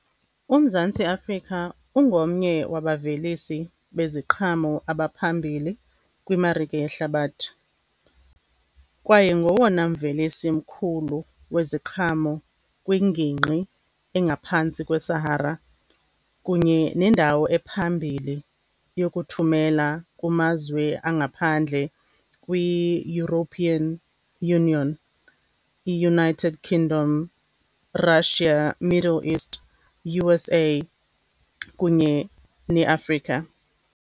UMzantsi Afrika ungomnye wabavelisi beziqhamo abaphambili kwimarike yehlabathi, kwaye ngowona mvelisi mkhulu weziqhamo kwingingqi engaphantsi kweSahara kunye nendawo ephambili yokuthumela kumazwe angaphandle kwiEuropean Union, iUnited Kingdom, Russia, Middle East, U_S_A, kunye neAfrika.